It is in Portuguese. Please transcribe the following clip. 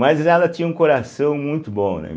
Mas ela tinha um coração muito bom, né?